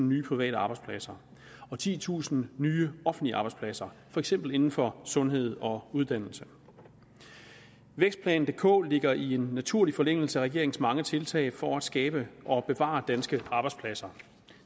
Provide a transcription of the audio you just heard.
nye private arbejdspladser og titusind nye offentlige arbejdspladser for eksempel inden for sundhed og uddannelse vækstplan dk ligger i en naturlig forlængelse af regeringens mange tiltag for at skabe og bevare danske arbejdspladser